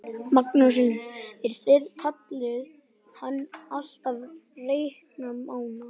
Magnús Hlynur: En þið kallið hann alltaf Reykdal Mána?